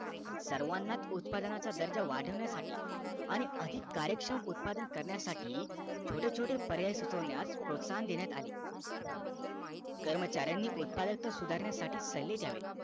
सर्वाना उत्पादनाचा दर्जा वाढवण्यासाठी आणि अधिक कार्यक्षम उत्पादन करण्यासाठी छोटे छोटे पर्याय सुचविण्यास प्रोसाहन देण्यात आले कर्मचाऱ्यांनी उत्पादक सुधारण्यासाठी सल्ले द्यावे